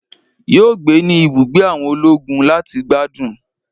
Yo gbé ní ibùgbé àwọn ológun láti gbádùn